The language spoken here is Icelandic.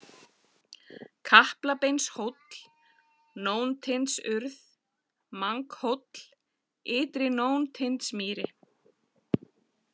Kaplabeinshóll, Nóntindsurð, Manghóll, Ytri-Nóntindsmýri